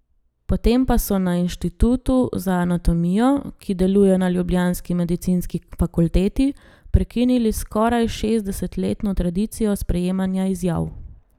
Potem pa so na inštitutu za anatomijo, ki deluje na ljubljanski medicinski fakulteti, prekinili skoraj šestdesetletno tradicijo sprejemanja izjav.